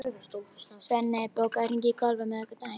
Svenni, bókaðu hring í golf á miðvikudaginn.